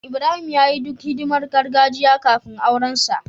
Ibrahim ya yi duk hidimar gargajiya kafin aurensa.